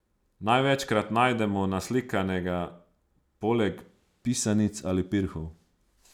Največkrat najdemo naslikanega poleg pisanic ali pirhov.